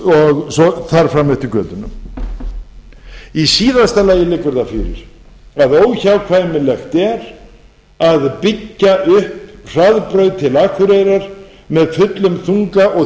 og þar fram eftir götunum í síðasta lagi það fyrir að óhjákvæmilegt er að byggja upp hraðbraut til akureyrar með fullum þunga og